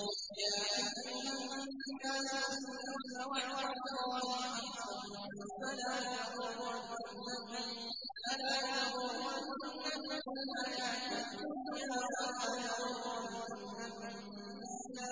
يَا أَيُّهَا النَّاسُ إِنَّ وَعْدَ اللَّهِ حَقٌّ ۖ فَلَا تَغُرَّنَّكُمُ الْحَيَاةُ الدُّنْيَا ۖ وَلَا يَغُرَّنَّكُم بِاللَّهِ